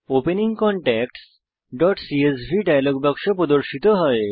opening contactsসিএসভি dialog বাক্স প্রদর্শিত হয়